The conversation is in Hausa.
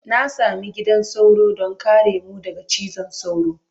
Na sami gidan sauro don kare mu daga cizon sauro.